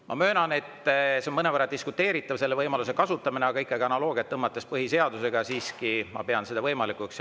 Ma möönan, et see on mõnevõrra diskuteeritav, selle võimaluse kasutamine, aga ikkagi analoogia põhjal põhiseadusega ma siiski pean seda võimalikuks.